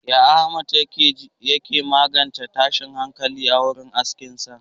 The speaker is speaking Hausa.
Yaya Ahmad ya ke magance tashin hankali a wurin aikinsa?